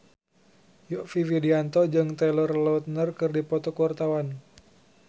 Yovie Widianto jeung Taylor Lautner keur dipoto ku wartawan